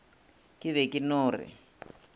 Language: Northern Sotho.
ke be ke no re